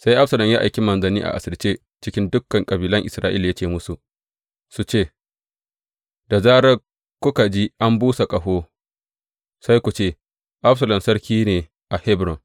Sai Absalom ya aiki manzanni a asirce cikin dukan kabilan Isra’ila, ya ce musu su ce, Da zarar kuka ji an busa ƙaho, sai ku ce, Absalom sarki ne a Hebron.’